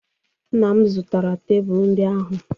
Nna m zụtara tebụl ndị ahụ.